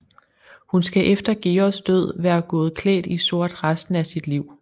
Hun skal efter Georges død være gået klædt i sort resten af sit liv